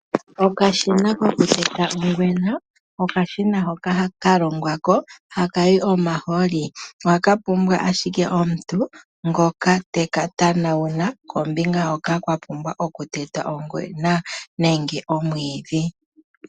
Okashina koku teta ongwena okashina hoka kalongwa hakayi omaholi. Ohaka pumbwa ashike omuntu ngoka eka tanauna kombinga hoka kwapumbwa okutetwa ongwena nenge omwiidhi.